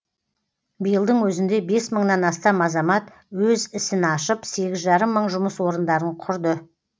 биылдың өзінде бес мыңнан астам азамат өз ісін ашып сегіз жарым мың жұмыс орындарын құрды